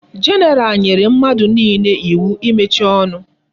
General nyere mmadu niile iwu imechi onu